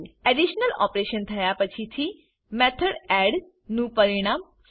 additional operation થયા પછી થી મેથોડ એડ નું પરિણામ સી